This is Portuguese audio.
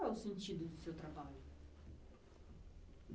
Qual é o sentido do seu trabalho?